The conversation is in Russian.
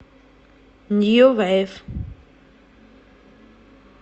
нью вейв